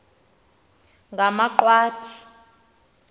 ngamaqwathi